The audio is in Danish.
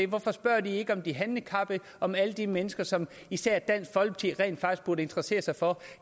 hvorfor spørger de ikke om de handicappede om alle de mennesker som især dansk folkeparti rent faktisk burde interessere sig for